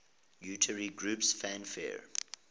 utari groups fanfare